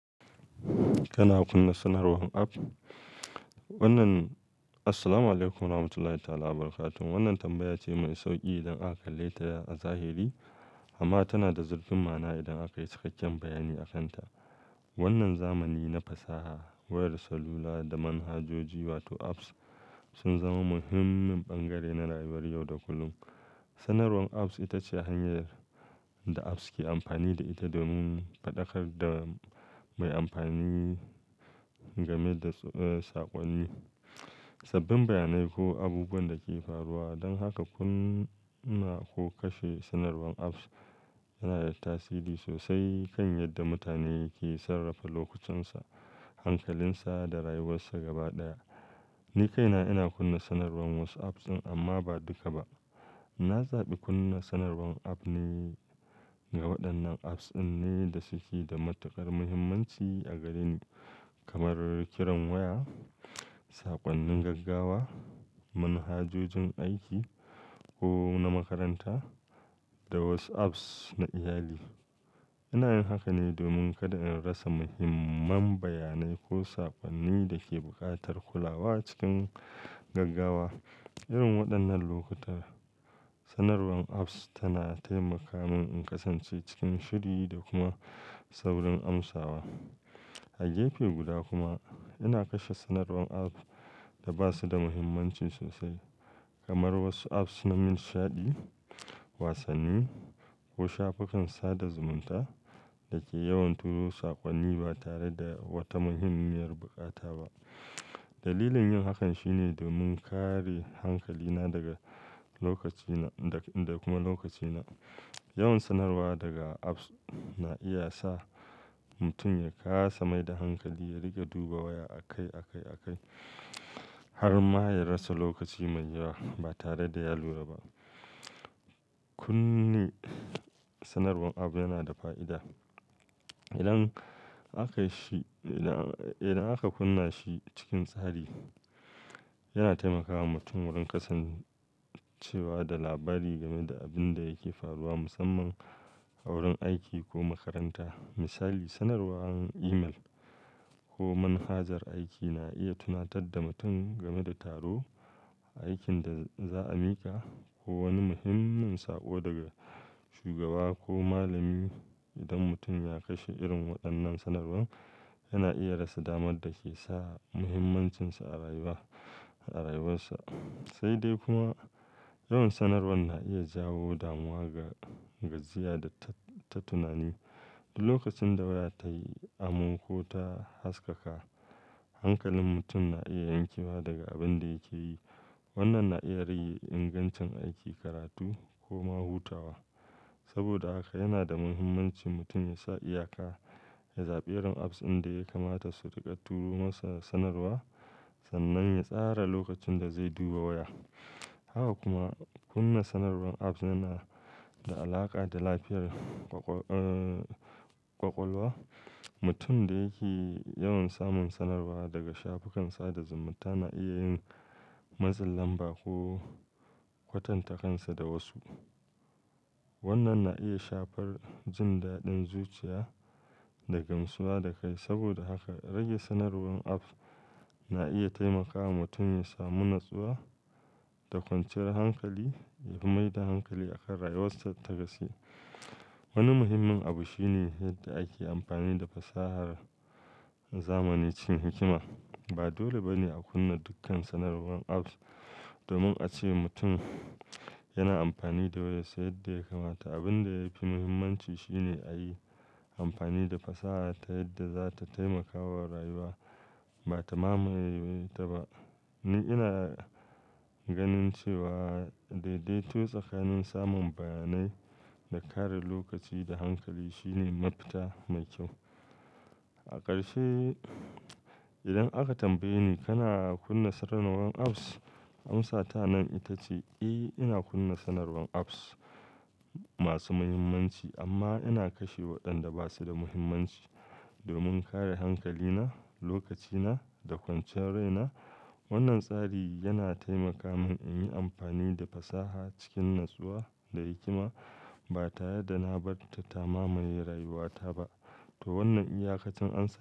Kana kunna sanarwan app? Wannan, assalamu alaikum warahmatullahi ta'ala wa barakatuhu. Wannan tambaya ce mai sauƙi idan aka kalle ta a zahiri, amma tana da zurfin ma'na idan aka yi cikakken bayani a kanta. Wannan zamani na fasaha, wayar salula da manhajoji wato apps sun zama muhimmin bangare na rayuwar yau da kullum. Sanarwan apps ita ce hanyar da apps ke amfani da ita domin faɗakar da mai amfani game da, eh, saƙonni, sabbin bayanai ko abubuwan da ke faruwa. Don haka kunna ko kashe sanarwan apps yana da tasiri sosai kan yadda mutane ke sarrafa lokucinsa, hankalinsa da rayuwarsa gaba ɗaya. Ni kaina ina kunna sanarwan wasu apps ɗin amma ba duka ba. Na zaɓi kunna sanarwan app ne, ga waɗannan apps ɗin ne da suke da matuƙar muhimmanci a gare ni, kamar kiran waya, saƙonnin gaggawa, manhajojin aiki ko na makaranta da WhatsApp na iyali. Ina yin haka ne domin kada in rasa muhimman bayanai ko saƙonnin da ke buƙatar kulawa cikin gaggawa. Irin waɗannan lokuta, sanarwan apps tana taimaka min in kasance cikin shiri da kuma saurin amsawa. A gefe guda kuma ina kashe sanarwan app da ba su da muhimmanci sosai kamar wasu apps na nishaɗi, wasanni ko shafukan sada zumunta da ke yawan turo saƙonni ba tare da wata muhimmiyar buƙata ba. Dalilin yin hakan shine domin kare hankalina daga lokacina, da kuma lokacina. Yawan sanarwa daga apps na iya sa mutum ya kasa mai da hankali, ya riƙa duba waya akai, akai, akai har ma ya rasa lokaci mai yawa ba tare da ya lura ba. Kunni sanarwan app yana da fa'ida. Idan aka shi, idan, idan aka kunna shi cikin tsari, yana taimakawa mutum wurin kasancewa da labari game da abin da yake faruwa musamman a wurin aiki ko makaranta. Misali, sanarwan email ko manhajar aiki na iya tunatar da mutum game da taro, aikin da za a miƙa ko wani muhimmin sako daga shugaba ko malami. Idan mutum ya kashe irin waɗannan sanarwan, yana iya rasa damar da ke sa muhimmancinsa a rayuwa, a rayuwarsa. Sai dai kuma yawan sanarwan na iya jawo damuwa ga, gajiya da ta, ta tunani. Duk kacin da waya ta yi am ko ta haskaka, hankalin mutum na iya yankewa daga abin da yake yi. Wannan na iya rage ingancin aiki, karatu ko ma hutawa. Saboda haka yana da muhimmanci mutum ya sa iyaka, ya zaɓi irin apps inda ya kamata su riƙa turo masa sanarwa sannan ya tsara lokacin da zai duba waya. Haka kuma kunna sanarwan app yana da alaƙa da lafiyar ƙwaƙwa, eh, ƙwaƙwalwa. Mutum da yake yawan samun sanarwa daga shafukan sada zumunta na iya yin matsin lamba ko kwatanta kansa da wasu. Wannan na iya shafar jin daɗin zuciya da gamsuwa da kai. Saboda haka rage sanarwan apps na iya taimakawa mutum ya samu natsuwa da kwanciyar hankali, ya mai da hankali akan rayuwarsa ta gaske. Wani muhimmin abu shine yadda ake amfani da fasahar zamanani, cikin hikima. Ba dole ba ne a kunna dukkan sanarwan apps domin a ce mutum yana amfani da wayarsa yadda ya kamata. Abin da yafi mahimmanci shine a yi amfani da fasaha ta yadda za ta taimakawa rayuwa ba ta mamaye ta ba. Ni ina ganin cewa daidaito tsakanin samun bayanai da kare lokaci da hankali shine mafita mai kyau. A ƙarshe, idan aka tambaye ni kana kunna sanarwan apps, amsa ta nan ita ce, "Eh, ina kunna sanarwan apps masu muhimmanci amma ina kashe waɗanda ba su da muhimmanci domin kare hankalina, lokacina da kwanciyar raina." Wannan tsari yana taimaka min in yi amfani da fasaha cikin natsuwa da hikima ba ta yadda na bar ta ta mamaye rayuwata ba. To wannan iyaka cin ansa.